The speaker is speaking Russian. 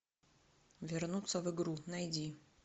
вернуться в игру найди